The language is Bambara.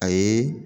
A ye